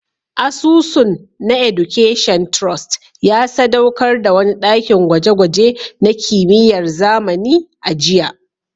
Asusun na Education Trust ya sadaukar da wani dakin gwaje-gwaje na kimiyyar zamani a jiya